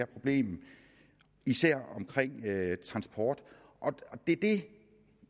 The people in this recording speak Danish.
problem især med hensyn transport det